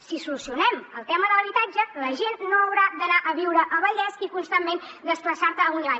si solucionem el tema de l’habitatge la gent no haurà d’anar a viure al vallès i constantment desplaçar se amunt i avall